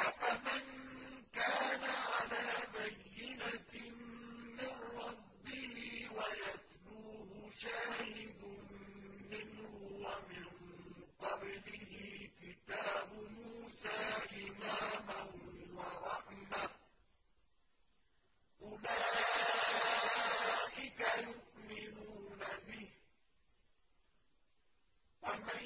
أَفَمَن كَانَ عَلَىٰ بَيِّنَةٍ مِّن رَّبِّهِ وَيَتْلُوهُ شَاهِدٌ مِّنْهُ وَمِن قَبْلِهِ كِتَابُ مُوسَىٰ إِمَامًا وَرَحْمَةً ۚ أُولَٰئِكَ يُؤْمِنُونَ بِهِ ۚ وَمَن